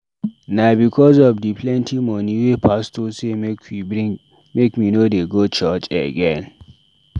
Na because of di plenty moni wey pastor sey make we dey bring make me no dey go church again.